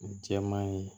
Jɛman ye